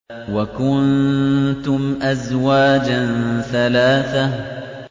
وَكُنتُمْ أَزْوَاجًا ثَلَاثَةً